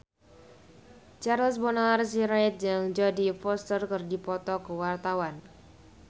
Charles Bonar Sirait jeung Jodie Foster keur dipoto ku wartawan